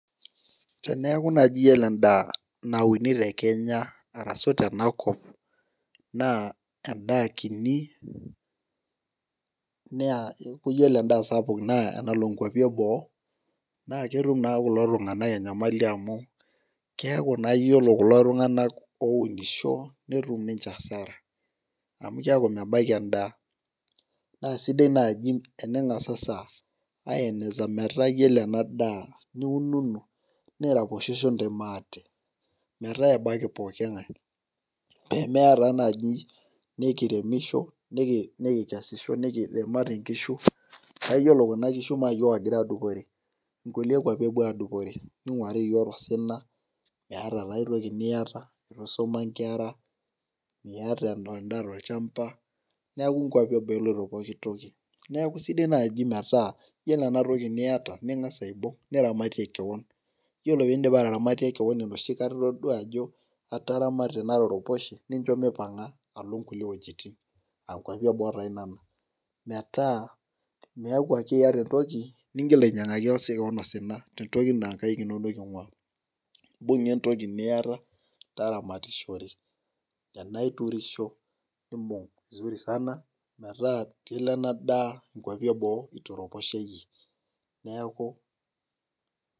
Teneeku naaji iyiolo edaa, nauni te kenya arashu tena kop, naa. edaa kini neaa iyiolo edaa sapuk naa enalo nkuapi eboo, naa ketum naa kulo tunganak enyamali amu, keeku naa iyiolo kulo tunganak ounisho. netum ninche asara. amu, keeku nenasukulini edaa. naa sidai naaji tening'asasa aikikisha metaa iyiolo ena daa niununu niraposhosho intae maate. metaa ebaiki pooki ng'ae. amu eya taa naaje nikiremisho, nikikeaisho nikidimari nkishu. naa iyiolo Kuna kishu naa iyiook ogira aadupore, kulie kuapi epuo aadupore. ninguari iyiook tosina. meeta taa ae toki niyata eitu eisuma nkera. miata edaa tolchampa. neeku nkuapi eboo eloito pooki toki. neeku sidai naaji metaa iyiolo ena toki niyata ningas aibung' niramatie, kewon. iyiolo pee idipa ataramatie kewon enoshi kata otoduaa ajo, ataramatie nataraposhe. nincho mipanga alo nkulie wuejitin.aa nkuapi eboo taa nena. metaa miaku ake iyata entoki nihil ainyiangaki sii kewon osina.te ntoki naa inkaik inonok ing'uaa. imbung'a entoki niyata taramatishore. tenaa iturusho nibung' vizuri sana. metaa kelo ena daa nkuapi eboo itaraposhe iyie. neeku.